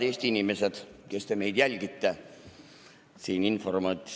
Head Eesti inimesed, kes te meid jälgite!